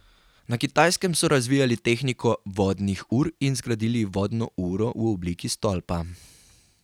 Na Kitajskem so razvijali tehniko vodnih ur in zgradili vodno uro v obliki stolpa.